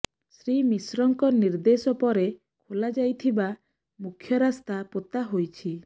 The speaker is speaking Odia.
ଶ୍ରୀ ମିଶ୍ରଙ୍କ ନିର୍ଦେଶ ପରେ ଖୋଳା ଯାଇଥିବା ମୁଖ୍ୟ ରାସ୍ତା ପୋତା ହୋଇଛି